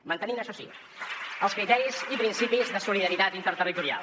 mantenint això sí els criteris i principis de solidaritat interterritorial